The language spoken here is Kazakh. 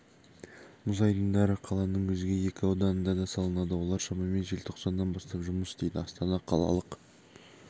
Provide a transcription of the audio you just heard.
мұз айдындары қаланың өзге екі ауданында да салынады олар шамамен желтоқсаннан бастап жұмыс істейді астана қалалық